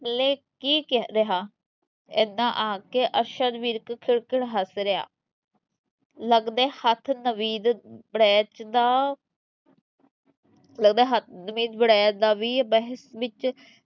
ਪੱਲੇ ਕੀ ਰਿਹਾ, ਇੰਨਾ ਆਖ ਕੇ ਅਰਸ਼ਦ ਵਿਰਕ ਖਿੜਖਿੜ ਹੱਸ ਰਿਹਾ ਲੱਗਦਾ ਹੈ ਹੱਥ ਨਵੀਦ ਵੜੈਚ ਦਾ ਲੱਗਦਾ ਹੈ ਹੱਥ ਨਵੀਦ ਵੜੈਚ ਦਾ ਵੀ ਬਹਿਸ ਵਿਚ